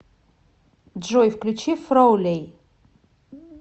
джой включи фроулей